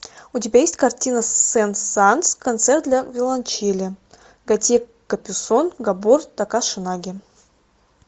у тебя есть картина сен санс концерт для виолончели готье капюсон габор такаш наги